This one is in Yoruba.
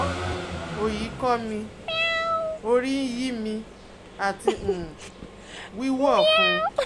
oyi ko mi, orí ń yí mi, àti um wíwú ọ̀fun